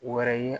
Wɛrɛ ye